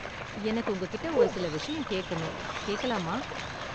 எனக்கு உங்ககிட்ட ஒரு சில விஷயம் கேக்கணும். கேக்கலாமா?